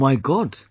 O my God